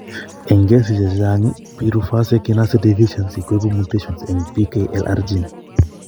Eng' kesisiek chechang' pyruvase kinase deficiency koibu mutations eng' PKLR gene